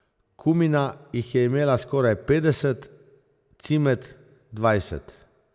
Kumina jih je imela skoraj petdeset, Cimet dvajset.